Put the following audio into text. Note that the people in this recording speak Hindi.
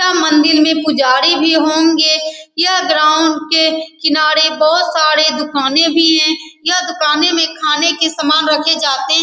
यह मंदिर में पूजरी भी होंगे यह ग्राउंड के किनारे बहुत सारे दुकानें भी हैं यह दुकानें में खाने के सामने रखे जाते --